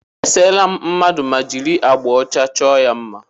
E seela m mmadụ ma jiri agbà ọcha chọọ ya mma.